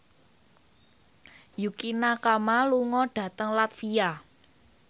Yukie Nakama lunga dhateng latvia